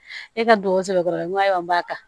E ka dugawu sɔrɔ dɔrɔn n ko ayiwa n b'a ta